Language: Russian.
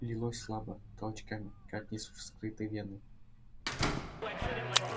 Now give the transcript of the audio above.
лилось слабо толчками как из вскрытой вены